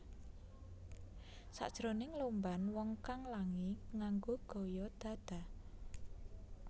Sakjroning lomban wong kang langi nganggo gaya dada